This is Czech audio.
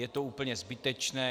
Je to úplně zbytečné.